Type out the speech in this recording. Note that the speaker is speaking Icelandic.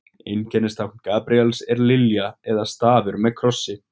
Einkennistákn Gabríels er lilja eða stafur með krossi.